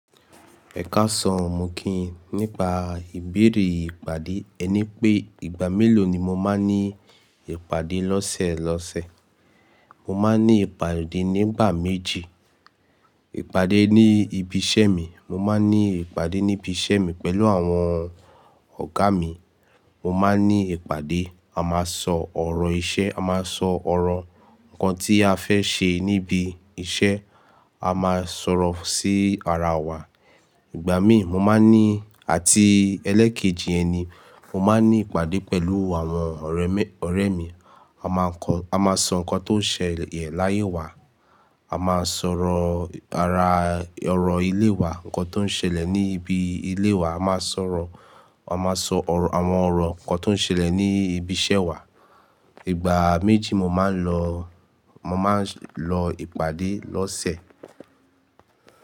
Ẹ ká saǹ o, mọ kíyin nípa ìbéèrè ìpàdé. Ẹ ní pé ìgbà mélòó ni mo máa ń ní ìpàdé lọ́sẹ̀ lọ́sẹ̀. Mo máa ń ní ìpàdé nígbà méjì. Ìpàdé ní ibi iṣẹ́ mi, mo máa ń ní ìpàdé ní ibi iṣẹ́ mi pẹ̀lú àwọn ọ̀gá mi. Mo máa ń ní ìpàdé, a máa sọ ọ̀rọ̀ iṣẹ́, a máa sọ ọ̀rọ̀ nǹkan tí a fẹ́ ṣe níbi iṣẹ́, a máa sọ̀rọ̀ sí ara wa. Ìgbà míì mo máa ń ní àti ẹlẹ́ẹ̀kejì ẹni, mo máa ń ní ìpàdé pẹ̀lú àwọn ọ̀rẹ́ mi, ọ̀rẹ́ mi. A máa kọ́, a máa sọ nǹkan tó ń ṣẹlẹ̀ láyé wa, a máa sọ̀rọ̀ ara ọ̀rọ̀ ilé wa, nǹkan tó ń ṣẹlẹ̀ ní ibi ilé wa, a máa sọ̀rọ̀, a máa sọ àwọn ọ̀rọ̀, nǹkan tó ń ṣẹlẹ̀ ní ibi iṣẹ́ wa. Ìgbà méjì mo máa ń lọ, mo máa ń lọ ìpàdé lọ́sẹ̀.